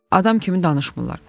Adam kimi danışmırlar.